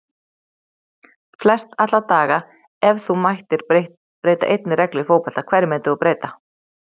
Flest alla daga Ef þú mættir breyta einni reglu í fótbolta, hverju myndir þú breyta?